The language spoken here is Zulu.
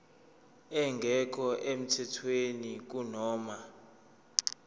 engekho emthethweni kunoma